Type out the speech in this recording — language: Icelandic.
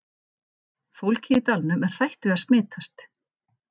Fólkið í dalnum er hrætt við að smitast.